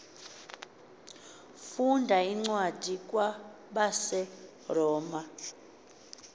funda incwadi kwabaseroma